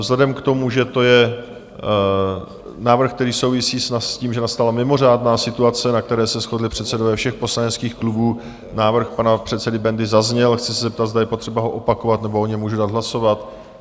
Vzhledem k tomu, že to je návrh, který souvisí s tím, že nastala mimořádná situace, na které se shodli předsedové všech poslaneckých klubů, návrh pana předsedy Bendy zazněl, chci se zeptat, zda je potřeba ho opakovat, nebo o něm můžu dát hlasovat?